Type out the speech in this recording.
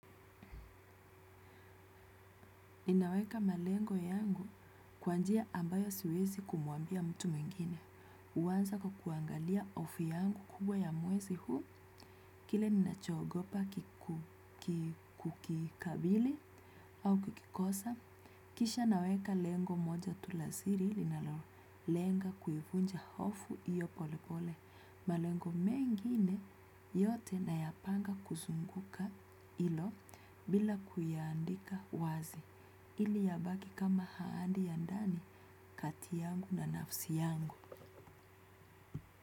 Ninaweka malengo yangu kwanjia ambayo siwezi kumwambia mtu mwingine. Uanza kwa kuangalia hofu yangu kubwa ya mwezi huu, kile ninachoogopa kukikabili au kukikosa. Kisha naweka lengo moja tu lasiri, linalolenga kuivunja hofu iyo pole pole. Malengo mengine yote na yapanga kuzunguka ilo bila kuyaandika wazi. Ili ya baki kama ahadi ya ndani katiyangu na nafsi yangu.